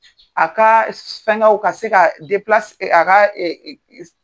A kaa s fɛŋɛw ka se kaa deplas a kaa